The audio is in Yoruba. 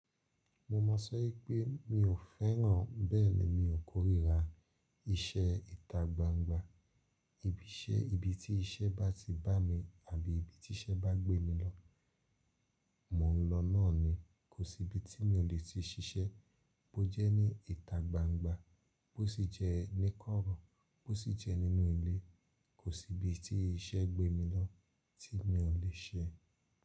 Mo máa sọ wipe pé mi ò fẹ́ràn, bẹ́ẹ̀ ni mi ò kórìíra iṣẹ́ ìta gbangba. Ibi iṣẹ́, ibi tí iṣẹ́ bá ti bá mi àbí ibi tí iṣẹ́ bá gbé mi lọ, mò ń lọ náà ni. Kò sí ibi tí mi ò le ti ṣiṣẹ́, bó jẹ́ ní ìta gbangba, bó sì jẹ́ ní kọ́rọ́, bó sì jẹ́ nínú ilé, kò sí ibi tí iṣẹ́ gbé mi lọ tí mi ò lè ṣe.